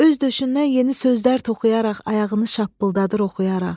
Öz döşündən yeni sözlər toxuyaraq ayağını şappıldadır oxuyaraq.